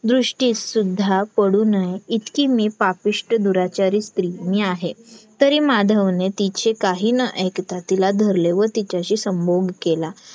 दृष्टीस सुद्धा पडू नये इतकी मी पापिष्ट दुराचारी स्त्री मी आहे तरी माधवने तिचे काही न ऐकता तिला धरले व तिच्याशी संभोग केला